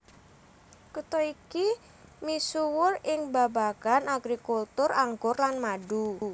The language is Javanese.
Kutha iki misuwur ing babagan agrikultur anggur lan madu